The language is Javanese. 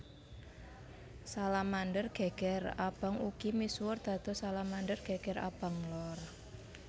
Salamander geger abang ugi misuwur dados Salamander geger abang lor